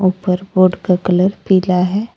ऊपर बोर्ड का कलर पीला है।